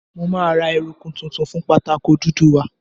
Mo máa ra eruku tuntun fún pátákó dúdú wa.